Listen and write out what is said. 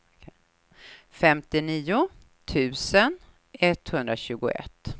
femtionio tusen etthundratjugoett